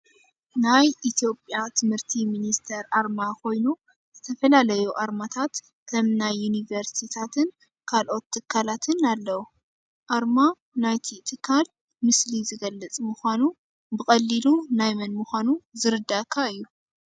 ናይ ኢትዮጵያ ትምህርቲ ሚኒስቴር ኣርማ ኮይኑ፣ ዝተፈላለዩ ኣርማታት ከም ናይ ዩኒቨርስትታትን ካልኦት ትካላትን ኣለው። ኣርማ ናይቲ ትካል ምስሊ ዝገልፅ ምኳኑ ብቀሊሉ ናይ መን ምኳኑ ዝርዳኣካ እዩ።